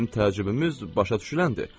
bizim təcrübəmiz başa düşüləndir.